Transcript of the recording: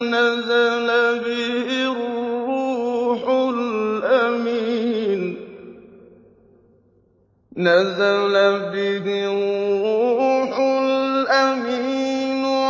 نَزَلَ بِهِ الرُّوحُ الْأَمِينُ